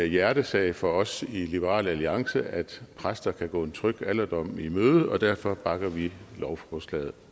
hjertesag for os i liberal alliance at præster kan gå en tryg alderdom i møde og derfor bakker vi lovforslaget